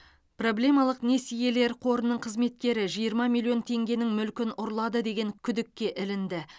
проблемалық несиелер қорының қызметкері жиырма миллион теңгенің мүлкін ұрлады деген күдікке ілінді